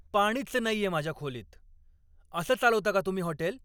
पाणीच नाहीये माझ्या खोलीत! असं चालवता का तुम्ही हॉटेल?